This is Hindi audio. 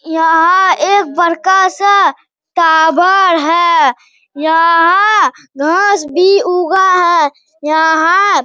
यहाँ एक बड़का सा टाबर है | यहाँ घास भी ऊगा है। यहाँ --